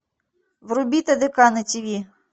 вруби тдк на тиви